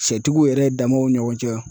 Sɛtigiw yɛrɛ damaw ni ɲɔgɔn cɛ.